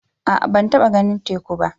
A'a ban taɓa ganin teku ba.